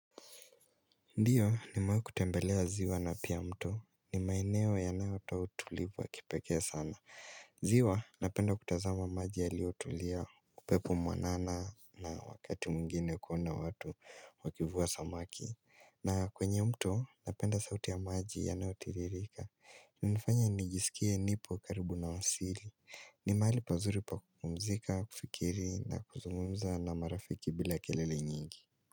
Ndiyo nimawai kutembelea ziwa na pia mto. Ni maeneo yanayoto utulivu wa kipekee sana. Ziwa napenda kutazama maji yaliotulia upepo mwanana na wakati mwingine kuona watu wakivua samaki. Na kwenye mto napenda sauti ya maji yanayotiririka. Hunifanya nijisikie nipo karibu na asili. Ni mahali pazuri pa kumzika, kufikiri na kuzungumza na marafiki bila kelele nyingi.